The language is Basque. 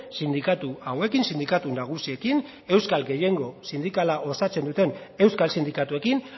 sindikatu hauekin sindikatu nagusiekin euskal gehiengo sindikala osatzen duten euskal sindikatuekin